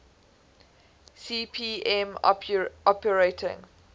cp m operating